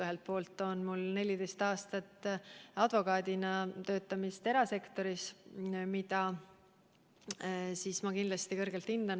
Ühelt poolt on mul 14 aastat advokaadina erasektoris töötamise kogemust, mida ma kõrgelt hindan.